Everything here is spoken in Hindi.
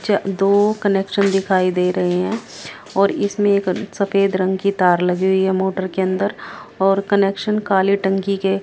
च दो कनेक्शन दिखाई दे रहे हैं और इसमें एक सफेद रंग की तार लगी हुई है मोटर के अंदर और कनेक्शन काले टंकी के--